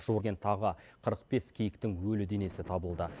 жуырден тағы қырық бес киіктің өлі денесі табылды